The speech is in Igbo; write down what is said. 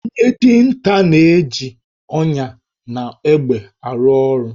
Onye dinta na-eji ọnyà na egbe arụ ọrụ